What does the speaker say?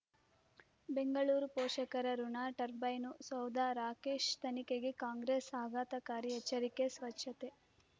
ಬೆಂಗಳೂರು ಪೋಷಕರಋಣ ಟರ್ಬೈನು ಸೌಧ ರಾಕೇಶ್ ತನಿಖೆಗೆ ಕಾಂಗ್ರೆಸ್ ಆಘಾತಕಾರಿ ಎಚ್ಚರಿಕೆ ಸ್ವಚ್ಛತೆ